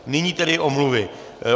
Nyní tedy omluvy.